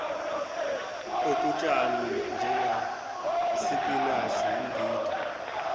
okotshani njengesipinashi umbido